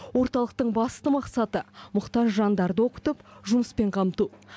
орталықтың басты мақсаты мұқтаж жандарды оқытып жұмыспен қамту